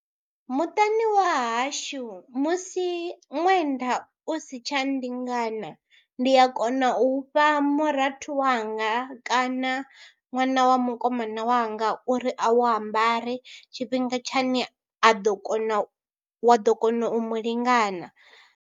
Muṱani wa hashu musi ṅwenda u si tsha nndingana ndi a kona u fha murathu wanga kana ṅwana wa mukomana wanga uri a wu ambare tshifhinga tshine a ḓo kona u, wa ḓo kona u mu lingana.